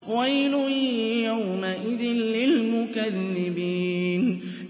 وَيْلٌ يَوْمَئِذٍ لِّلْمُكَذِّبِينَ